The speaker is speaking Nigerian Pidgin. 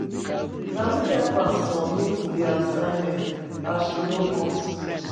Na me help am submit di assignment as she no come skool.